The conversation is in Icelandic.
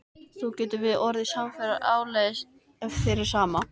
Þá getum við orðið samferða áleiðis ef þér er sama.